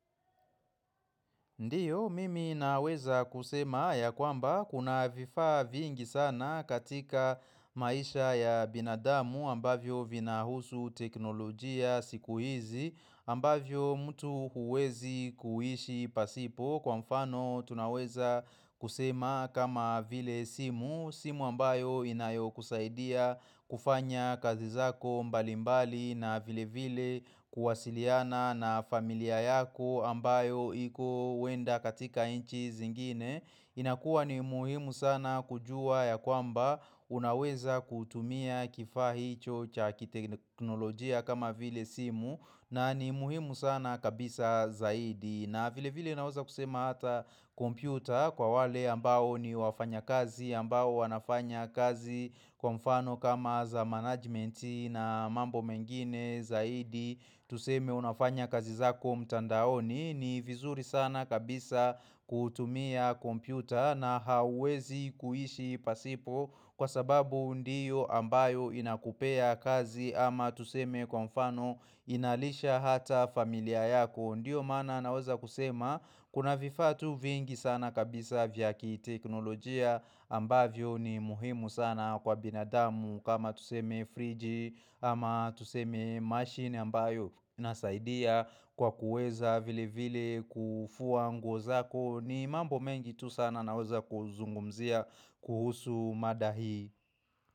Ndiyo mimi naweza kusema ya kwamba kuna vifaa vingi sana katika maisha ya binadamu ambavyo vina husu teknolojia siku hizi ambavyo mtu huwezi kuishi pasipo kwa mfano tunaweza kusema kama vile simu. Simu ambayo inayo kusaidia kufanya kazi zako mbali mbali na vile vile kuwasiliana na familia yako ambayo iko wenda katika inchi zingine inakuwa ni muhimu sana kujua ya kwamba unaweza kutumia kifaa hi chocha kiteknolojia kama vile simu na ni muhimu sana kabisa zaidi na vile vile naweza kusema hata kompyuta kwa wale ambao ni wafanya kazi ambao wanafanya kazi kwa mfano kama za management na mambo mengine zaidi Tuseme unafanya kazi zako mtandaoni ni vizuri sana kabisa kutumia kompyuta na hawezi kuhishi pasipo Kwa sababu ndiyo ambayo inakupea kazi ama tuseme kwa mfano inalisha hata familia yako Ndiyo maana naweza kusema kuna vifaatu vingi sana kabisa vyaki teknolojia ambavyo ni muhimu sana kwa binadamu kama tuseme fridge ama tuseme machine ambayo inasaidia kwa kuweza vile vile kufua nguo zako ni mambo mengi tu sana naoza kuzungumzia kuhusu madahi.